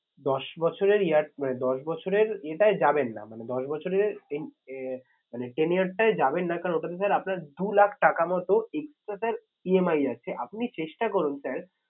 দশ বছরের year মানে দশ বছরের এটায় যাবেন না। মানে দশ বছরের মানে ten year টায় যাবেন না কারণ ওটাতে sir আপনার দু লাখ টাকা মতো EMI যাচ্ছে আপনি চেষ্টা করুন sir